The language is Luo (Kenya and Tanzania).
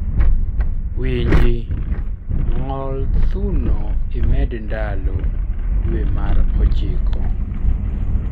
winji ,ng'I thuno imed ndalo dwe mar ochiko